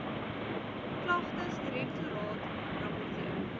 klagtesdirek toraat rapporteer